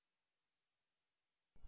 3